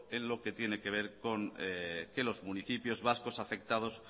en lo que tiene que ver con que los municipios vascos afectados